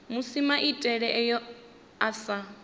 musi maitele ayo a sa